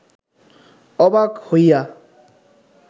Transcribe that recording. অবাক হইয়া